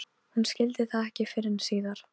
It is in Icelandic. Hún hafði komið hingað um sumar fyrir tuttugu árum.